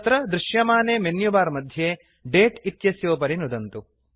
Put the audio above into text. तत्र दृश्यमाने मेन्युबार मध्ये दते इत्यस्योपरि नुदन्तु